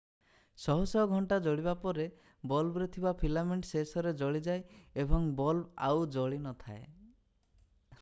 ଶହ ଶହ ଘଣ୍ଟା ଜଳିବା ପରେ ବଲ୍ବରେ ଥିବା ଫିଲାମେଣ୍ଟ ଶେଷରେ ଜଳିଯାଏ ଏବଂ ବଲ୍ବ ଆଉ ଜଳି ନ ଥାଏ